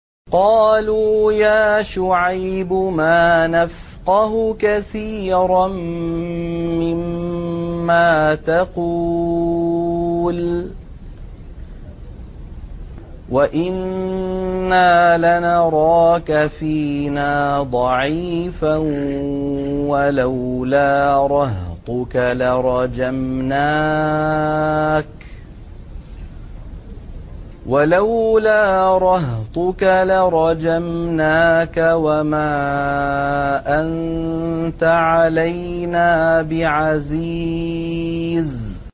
قَالُوا يَا شُعَيْبُ مَا نَفْقَهُ كَثِيرًا مِّمَّا تَقُولُ وَإِنَّا لَنَرَاكَ فِينَا ضَعِيفًا ۖ وَلَوْلَا رَهْطُكَ لَرَجَمْنَاكَ ۖ وَمَا أَنتَ عَلَيْنَا بِعَزِيزٍ